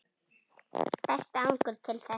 Besti árangur til þessa?